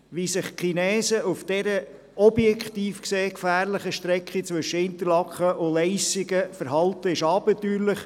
Wie sich die Chinesen auf dieser objektiv gesehen gefährlichen Strecke zwischen Interlaken und Leissigen verhalten, ist abenteuerlich.